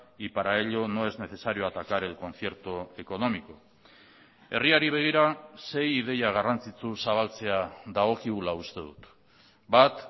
y para ello no es necesario atacar el concierto económico herriari begira sei ideia garrantzitsu zabaltzea dagokigula uste dut bat